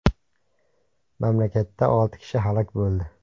Mamlakatda olti kishi halok bo‘ldi.